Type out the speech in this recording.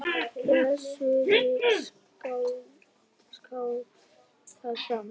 Össuri skákað fram.